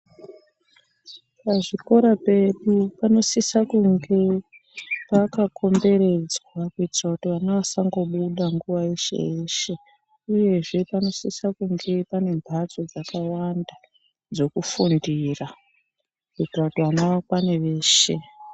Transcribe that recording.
Pazvikoro pedu panosisa kunge pakakomberedzwa, kuitira kuti vana vasabungobuda nguwa yeshe-yeshe, uyezve panosise kunge pane mphatso dzakawanda dzokufundira, kuitira kuti vana vakwane veshe.